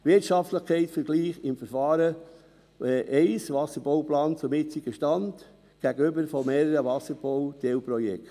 einen Wirtschaftlichkeitsvergleich im Verfahren mit Wasserbauplan gegenüber dem jetzigen Stand mit mehreren Wasserbauteilprojekten;